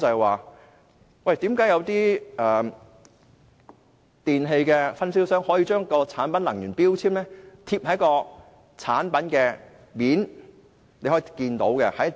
為何有些電器分銷商會把能源標籤貼在產品的表面，讓消費者可以看到？